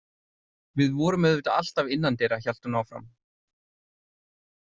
Við vorum auðvitað alltaf innandyra, hélt hún áfram.